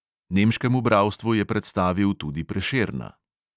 Nemškemu bralstvu je predstavil tudi prešerna.